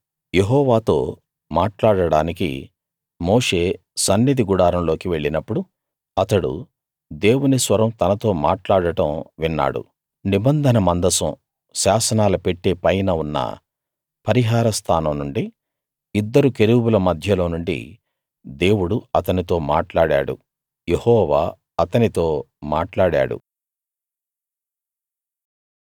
యెహోవాతో మాట్లాడడానికి మోషే సన్నిధి గుడారంలోకి వెళ్ళినప్పుడు అతడు దేవుని స్వరం తనతో మాట్లాడడం విన్నాడు నిబంధన మందసం శాసనాల పెట్టె పైన ఉన్న పరిహార స్థానం నుండి ఇద్దరు కెరూబుల మధ్యలోనుండి దేవుడు అతనితో మాట్లాడాడు యెహోవా అతనితో మాట్లాడాడు